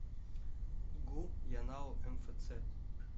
гу янао мфц